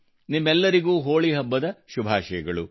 ನಿಮ್ಮೆಲ್ಲರಿಗೂ ಹೋಳಿ ಹಬ್ಬದ ಶುಭಾಶಯಗಳು